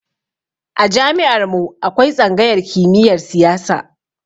A jami'ar mu akwai tsangayar kimiyar siyasa